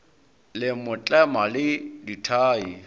le mo tlema le dithai